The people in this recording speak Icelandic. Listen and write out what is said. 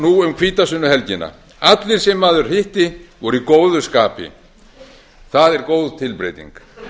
nú um hvítasunnuhelgina allir sem maður hitti voru í góðu skapi það er góð tilbreyting